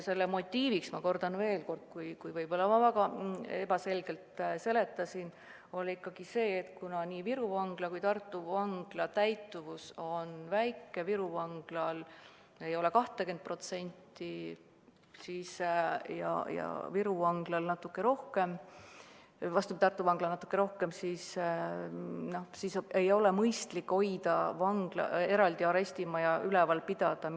Põhimotiiv, ma kordan veel, kui ma enne võib-olla väga ebaselgelt seletasin, oli ikkagi see, et kuna nii Viru Vangla kui ka Tartu Vangla täitumus on väike – Viru Vanglal ei ole 20%-gi ja Tartu Vanglal on natuke rohkem –, siis ei ole mõistlik eraldi arestimaja üleval pidada.